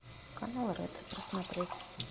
канал ретро посмотреть